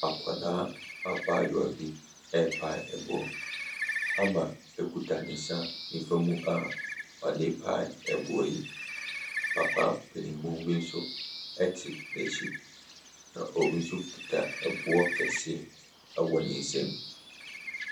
Akwadaa abaayewa bi repae ɛboɔ. Hammar kuta ne nsa nifa mu a ɔde repae ɛboɔ yi. Papa panin bi nso te n'akyi, na obi nso kita ɛboɔ kɛseɛ wɔ ne nsam.